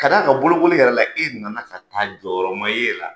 Ka d'a a ka bolokoli yɛrɛ la, e nana ka taa jɔyɔrɔ ma ye e la